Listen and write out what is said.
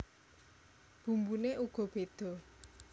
Bumbune uga bedha